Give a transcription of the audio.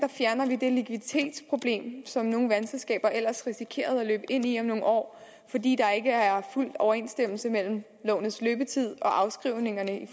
fjerner vi det likviditetsproblem som nogle vandselskaber ellers risikerede at løbe ind i om nogle år fordi der ikke er fuld overensstemmelse mellem lånets løbetid og afskrivningerne i